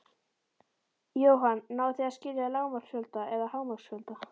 Jóhann: Náið þið að skila lágmarksfjölda eða hámarksfjölda?